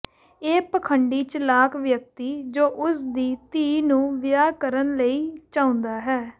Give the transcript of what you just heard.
ਇਹ ਪਖੰਡੀ ਚਲਾਕ ਵਿਅਕਤੀ ਜੋ ਉਸ ਦੀ ਧੀ ਨੂੰ ਵਿਆਹ ਕਰਨ ਲਈ ਚਾਹੁੰਦਾ ਹੈ